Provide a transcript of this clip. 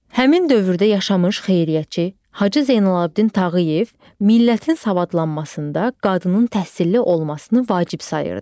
Həmin dövrdə yaşamış xeyriyyətçi Hacı Zeynalabdin Tağıyev millətin savadlanmasında qadının təhsilli olmasını vacib sayırdı.